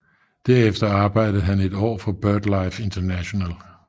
Derefter arbejdede han i et år for BirdLife International